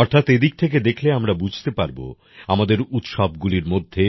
অর্থাৎ এদিক থেকে দেখলে আমরা বুঝতে পারব আমাদের উৎসবগুলির মধ্যে